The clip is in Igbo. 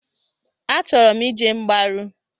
Achọrọ m ije mgbaru.